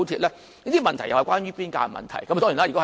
這些問題也是關於邊界的問題。